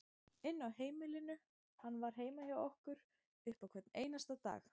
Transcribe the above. inn á heimilinu, hann var heima hjá okkur upp á hvern einasta dag.